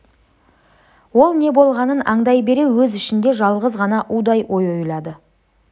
ол не болғанын аңдай бере өз ішінде жалғыз ғана удай ой ойлады